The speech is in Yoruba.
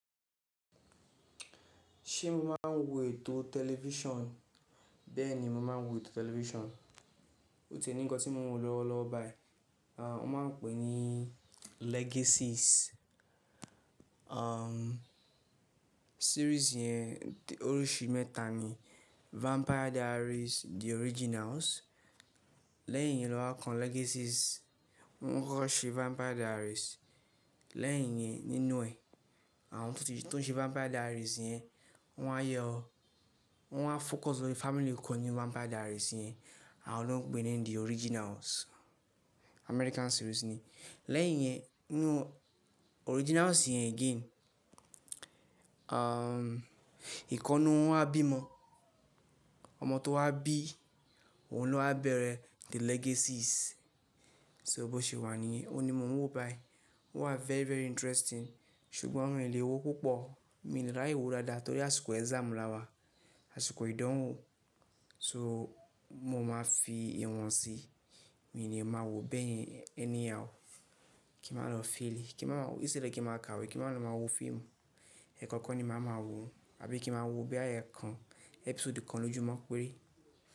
Ṣé mo máa ń wo ètò tẹlifíṣàn? Bẹ́ẹ̀ ni, mo máa ń wo ètò tẹlifíṣàn. O ti ní nǹkan tí mo ń wò lọ́wọ́lọ́wọ́ báyìí, àá, wọ́n máa ń pè é ní Legacies. Àá, series yẹn oríṣi mẹ́ta ni. Vampire Diaries, The Originals, lẹ́yìn yẹn lọ́ wà kan Legacies. Wọ́n kọ́ ṣe Vampire Diaries, lẹ́yìn yẹn nínú ẹ̀, àwọn tó ń ṣe Vampire Diaries yẹn wọ́n á yọ, wọ́n á focus lórí family kan nínú Vampire Diaries yẹn àwọ́n ló ń pè é ní The Originals. American series ni. Lẹ́yìn yẹn, inú Originals yẹn again, àá, ìkannú wọn á bímọ. Ọmọ tó wá bí òun ló á bẹ̀rẹ̀ The Legacies. So bó ṣe wà níyen, òun ni mò ń wò báyìí. Ó wà very, very interesting ṣùgbọ́n mi ò lè wò púpọ̀. Mi ò lè ráyè wò dáadáa torí àsìkò exam ni àwa, àsìkò ìdánwò. So mo máa fi ìwọ̀n si, mi ni máa wòọ́ bẹ́ẹ̀ yẹn anyhow. Kí màá lọ́ fail? Kí màá ma wò? Instead kí màá ka ìwé, kí màá lọ máa wo fíìmù, ẹ̀ẹ̀kọ̀kan ni màá máa wò, àbí kí màá wo bóyá ẹ̀ẹ̀kan episode kan lójúmọ́ péré.